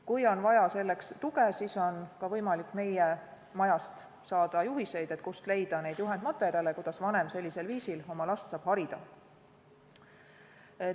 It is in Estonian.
Kui on vaja selleks tuge, siis on ka võimalik meie majast saada juhiseid, kuidas vanem sellisel viisil oma last harida saab.